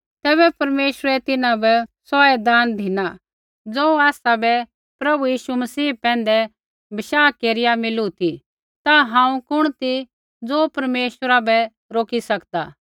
तैबै परमेश्वरै तिन्हां बै सौहै दान धिना ज़ो आसाबै प्रभु यीशु मसीह पैंधै विश्वास केरिआ मिलू ती ता हांऊँ कुण ती ज़ो परमेश्वरा बै रोकी सकदा